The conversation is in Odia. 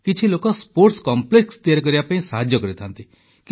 କିଛି ଲୋକ ସ୍ପୋର୍ଟ୍ସ କମ୍ପ୍ଲେକ୍ସ ତିଆରି କରିବା ପାଇଁ ସାହାଯ୍ୟ କରିଥାନ୍ତି